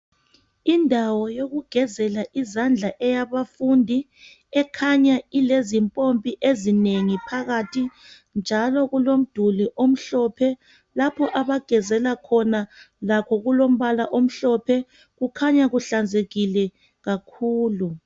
Indawo yokugezela izandla eyabafundi ekhanya ilezimpompi ezinengi phakathi. Njalo kulomduli omhlophe lapho abagezela khona lakho kulombala omhlophe. Kukhanya kuhlanzekile kakhulu.